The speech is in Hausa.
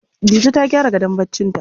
Dije ta gyara gadon barcinta.